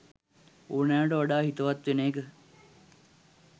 ඕනෑවට වඩා හිතවත් වෙන එක.